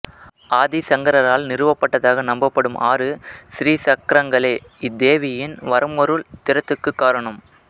ஆதிசங்கரரால் நிறுவப்பட்டதாக நம்பப்படும் ஆறு சிறிசக்கரங்களே இத்தேவியின் வரமருள் திறத்துக்குக் காரணம்